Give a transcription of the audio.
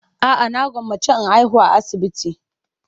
A'a, na gwammace in haihu a asibiti.